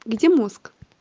где мозг